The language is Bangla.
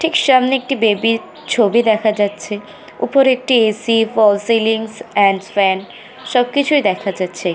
ঠিক সামনে একটি বেবি - র ছবি দেখা যাচ্ছে ওপরে একটি A. C. False ceiling and fan সবকিছুই দেখা যাচ্ছে